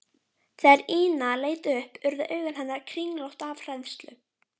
Þegar Ína leit upp urðu augu hennar kringlótt af hræðslu.